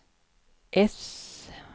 äss